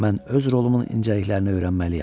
Mən öz rolumun incəliklərini öyrənməliyəm.